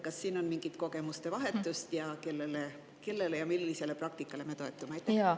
Kas on toimunud mingit kogemuste vahetust ning kellele ja millisele praktikale me toetume?